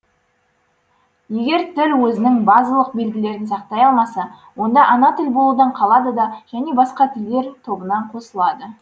егер тіл өзінің базалық белгілерін сақтай алмаса онда ана тілі болудан қалады да және басқа жаңа тілдер тобына қосылады